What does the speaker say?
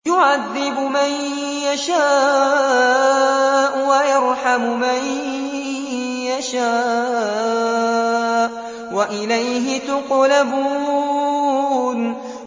يُعَذِّبُ مَن يَشَاءُ وَيَرْحَمُ مَن يَشَاءُ ۖ وَإِلَيْهِ تُقْلَبُونَ